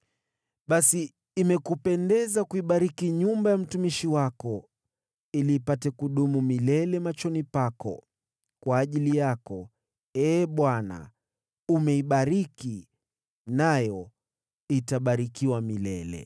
Basi imekupendeza kuibariki nyumba ya mtumishi wako, ili idumu milele machoni pako; kwa ajili yako, Ee Bwana , umeibariki, nayo itabarikiwa milele.”